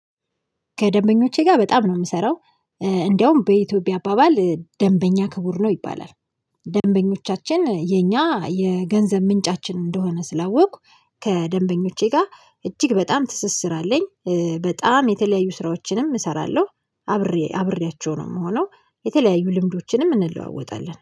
ከደንበኞቼ ጋር በጣም ነው የምሰራው እንደውም በኢትዮጵያ አባባል ደንበኛ ክቡር ነው ይባላል። ደንበኞቻችን የኛ የገንዘብ ምንጫችን እንደሆነ ስላወቅኩ ከደንበኞቼ ጋር እጅግ በጣም ትስስር አለኝ በጣም የተለያዩ ስራዎችንም እሰራለሁ። አብሬ አብሬያቸው ነው የምሆነው የተለያዩ ልምዶችንም እንለዋወጣለን